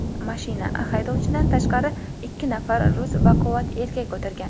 Mashina, haydovchidan tashqari, ikki nafar rus baquvvat erkak o‘tirgan.